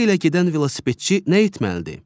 Şose ilə gedən velosipedçi nə etməlidir?